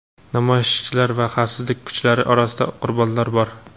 Namoyishchilar va xavfsizlik kuchlari orasida qurbonlar bor.